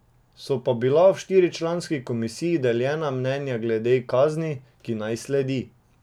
So pa bila v štiričlanski komisiji deljena mnenja glede kazni, ki naj sledi.